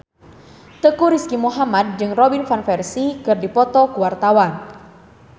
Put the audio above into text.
Teuku Rizky Muhammad jeung Robin Van Persie keur dipoto ku wartawan